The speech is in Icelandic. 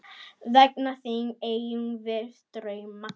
Vegna þín eigum við drauma.